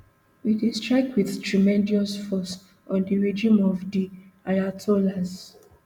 we dey strike wit tremendous force on di regime of di ayatollahs